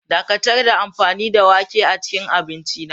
Dakatar da amfani da wake a cikin abinci na.